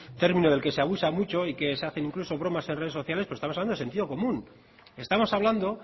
término del que se abusa mucho y del que se hacen incluso bromas en redes sociales pero estamos hablando de sentido común estamos hablando